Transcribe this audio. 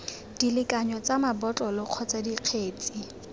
dilekanyo tsa mabotlolo kgotsa dikgetse